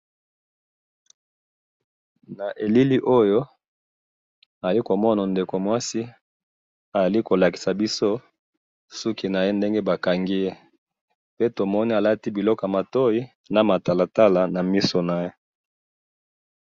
na elili oyo ayekomona ndekomoko mwasi ali kolakisa biso sukinaye ndenge bakangiye pe tomoni alati biloko yamatoyi namatalatala namisunaye